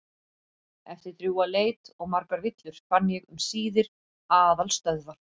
Eftir drjúga leit og margar villur fann ég um síðir aðalstöðvar